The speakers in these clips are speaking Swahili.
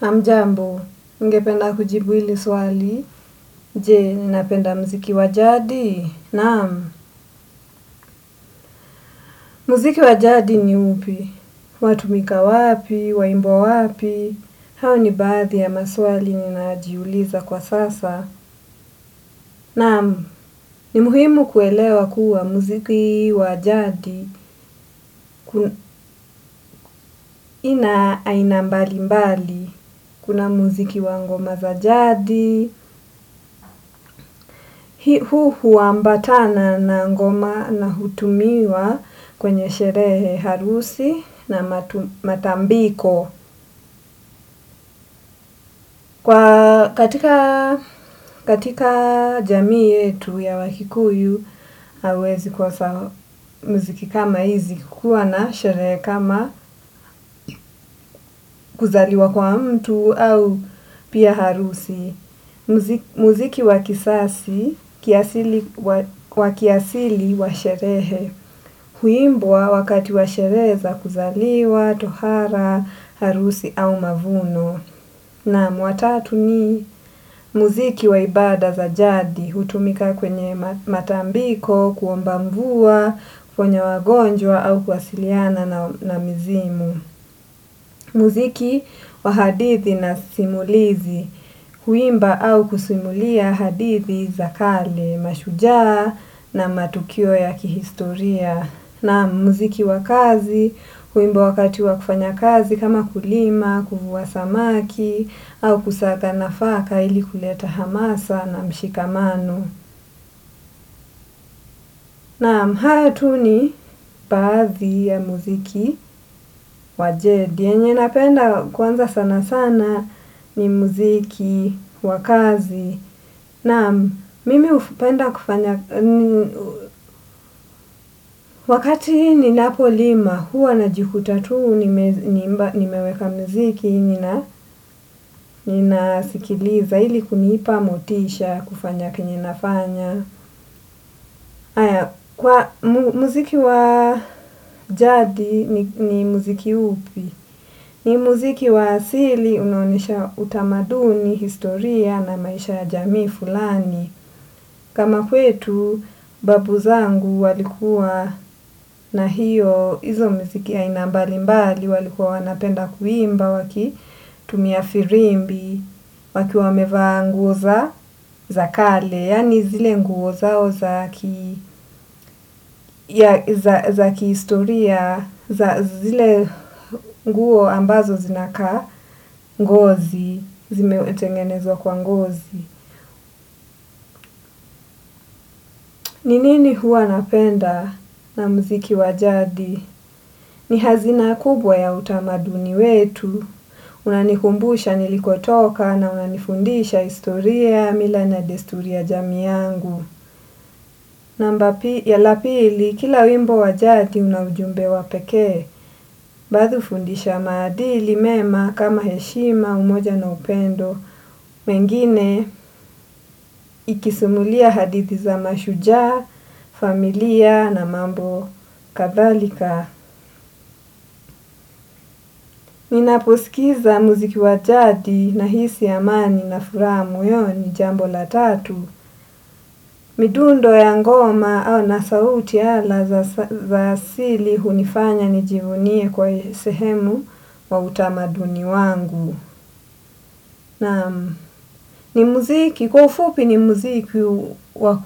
Hamjambo, ningependa kujibu hili swali, je unapenda mziki wa jadi? Naam, mziki wa jadi ni upi, watumika wapi, waimbwa wapi, hao ni baadhi ya maswali ninajiuliza kwa sasa. Naam ni muhimu kuelewa kuwa muziki wa jadi, kuna ya aina mbali mbali kuna muziki wa ngoma za jadi, huu huambatana na ngoma na hutumiwa kwenye sherehe harusi na matambiko. Kwa katika jamii yetu ya wakikuyu, hauwezi kosa mziki kama hizi kukua na sherehe kama kuzaliwa kwa mtu au pia harusi. Mziki wa kisasi kiasili wa sherehe, huimbwa wakati wa sherehe za kuzaliwa, tohara, harusi au mavuno. Naam wa tatu ni muziki wa ibada za jadi hutumika kwenye matambiko, kuomba mvua, kwenye wagonjwa au kuwasiliana na mzimu. Muziki wa hadithi na simulizi, kuimba au kusimulia hadithi za kale, mashujaa na matukio ya kihistoria. Na muziki wa kazi, huimbwa wakati wa kufanya kazi kama kulima kuvua samaki, au kusaka na faka ili kuleta hamasa na mshikamano. Naam, hayo tu ni baadhi ya muziki wa jadi. Enye napenda kwanza sana sana ni muziki wa kazi. Naam mimi hupenda kufanya, wakati ninapo lima, huwa na jikuta tuu nimeweka mziki, ninasikiliza ili kunipa motisha kufanya kenye nafanya. Kwa mziki wa jadi ni mziki upi, ni mziki wa asili unaonesha utamaduni, historia na maisha ya jamii fulani. Kama kwetu babu zangu walikuwa na hiyo izo mziki ya inambali mbali walikuwa wanapenda kuimba waki tumia firimbi waki wameva nguza za kale, yani zile nguo zao zs za kihistoria zile nguo ambazo zinakaa ngozi zimetengenezwa kwa ngozi. Ni nini huwa napenda na mziki wa jadi? Ni hazina kubwa ya utamaduni wetu. Unanikumbusha nilikotoka na unanifundisha historia mila na desturi ya jamii yangu. Namba ya lapili, kila wimbo wajati unaujumbe wapeke, badu fundisha madili mema kama heshima, umoja na upendo, mengine ikisimulia hadithi za mashujaa, familia na mambo kadhalika. Ninaposkiza muziki wa jadi na hisi amani na furaha moyoni jambo la tatu. Midundo ya ngoma na sauti ala za sili hunifanya nijivunie kwa sehemu wa utamaduni wangu. Kwa ufupi ni mziki wa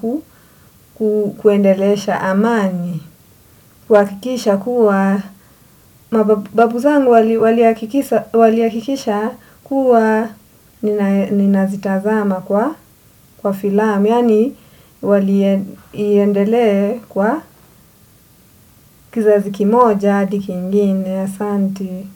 kuendelesha amani kwa kuhakikisha kuwa babu zangu wali hakikisha kuwa ninazitazama kwa filamu yaani wali endelee kwa kizazi kimoja hadi kingine asanti.